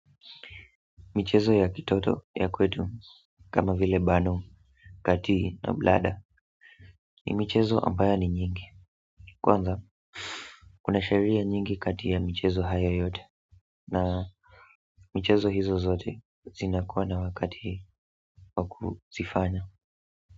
Michezo ya kitoto ya kwetu kama vile bano kati na bladder ni michezo ambayo ni nyingi kwanza kuna sheria nyingi kati ya michezo haya yote na michezo hizo zote zinakuwa na wakati wakuzifanya.